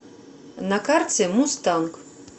на карте мустанг